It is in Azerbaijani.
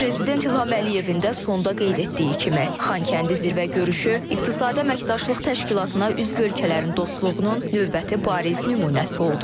Prezident İlham Əliyevin də sonda qeyd etdiyi kimi, Xankəndi zirvə görüşü İqtisadi Əməkdaşlıq Təşkilatına üzv ölkələrin dostluğunun növbəti bariz nümunəsi oldu.